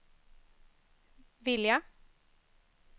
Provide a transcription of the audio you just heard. vilja